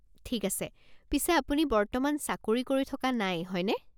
ঠিক আছে। পিছে আপুনি বৰ্তমান চাকৰি কৰি থকা নাই, হয়নে?